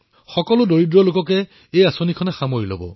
এই যোজনা এনে দুখীয়া পৰিয়ালৰ বাবেই প্ৰণয়ন কৰা হৈছে